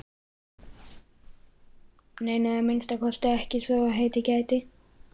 Nei, nei, að minnsta kosti ekki svo heitið gæti.